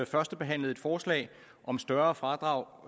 førstebehandlede et forslag om større fradrag